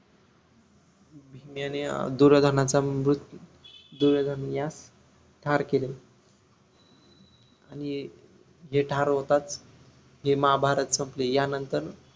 भीम याने अं दूर्योदनाचा मृत्यू दुर्योधनयास ठार केले आणि जे ठार होतात ते महाभारत संपले यानंतर